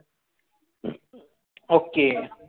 Okay